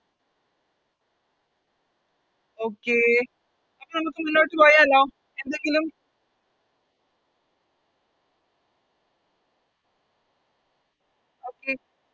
Okay അപ്പൊ നമുക്ക് മുന്നോട്ട് പോയാലോ എന്തെങ്കിലും Okay